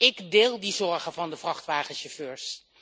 Ik deel die zorgen van de vrachtwagenchauffeurs.